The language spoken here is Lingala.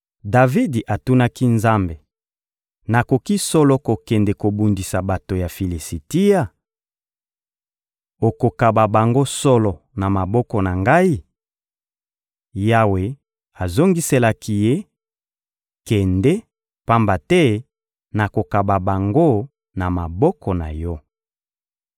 Davidi atunaki Nzambe: — Nakoki solo kokende kobundisa bato ya Filisitia? Okokaba bango solo na maboko na ngai? Yawe azongiselaki ye: — Kende, pamba te nakokaba bango na maboko na yo.